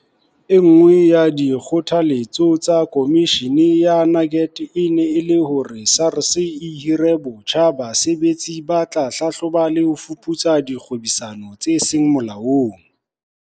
E nngwe ya dikgothaletso tsa Komishini ya Nugent e ne e le hore SARS e hire botjha basebetsi ba tla hlahloba le ho fuputsa dikgwebisano tse seng molaong.